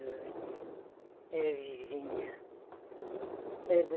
Era vizinha era vizinha.